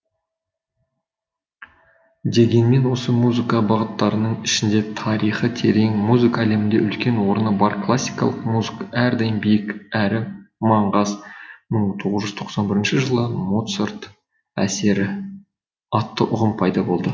дегенмен осы музыка бағыттарының ішінде тарихы терең музыка әлемінде үлкен орны бар классикалық музыка әрдайым биік әрі маңғаз мың тоғыз жүз тоқсан бірінші жылы моцарт әсері атты ұғым пайда болды